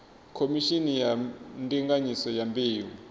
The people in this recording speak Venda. khomishini ya ndinganyiso ya mbeu